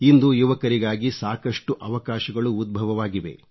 ಇಂದು ಯುವಕರಿಗಾಗಿ ಸಾಕಷ್ಟು ಅವಕಾಶಗಳು ಉದ್ಭವವಾಗಿವೆ